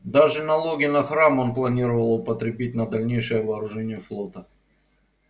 даже налоги на храм он планировал употребить на дальнейшее вооружение флота